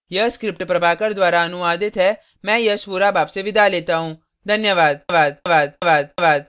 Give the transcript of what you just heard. यह स्क्रिप्ट प्रभाकर द्वारा अनुवादित है मैं यश वोरा अब आपसे विदा लेता हूँ धन्यवाद